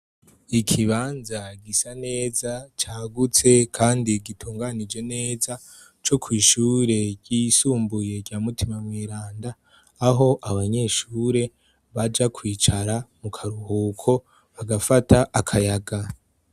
Ikibanza gisa neza, cagutse kandi gitunganije neza, co kw'ishure ryisumbuye rya Mutima mweranda, aho abanyeshure baja kwicara mu karuhuko, bagafata akayaga.